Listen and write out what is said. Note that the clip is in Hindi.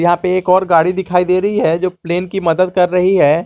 यहां पे एक और गाड़ी दिखाई दे रही है जो प्लेन की मदद कर रही है।